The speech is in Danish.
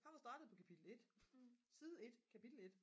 han var startet på kapitel 1 side 1 kapitel 1